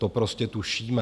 To prostě tušíme.